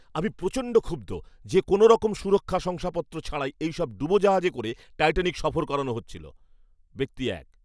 আমি প্রচণ্ড ক্ষুব্ধ যে কোনোরকম সুরক্ষা শংসাপত্র ছাড়াই এইসব ডুবোজাহাজে করে টাইটানিক সফর করানো হচ্ছিল। ব্যক্তি এক